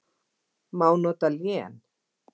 Má nota lén